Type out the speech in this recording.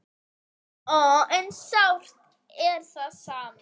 En sárt er það samt.